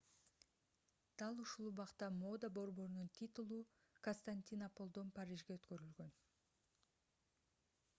дал ушул убакта мода борборунун титулу константинополдон парижге өткөрүлгөн